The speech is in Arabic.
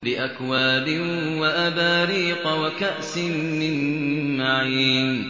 بِأَكْوَابٍ وَأَبَارِيقَ وَكَأْسٍ مِّن مَّعِينٍ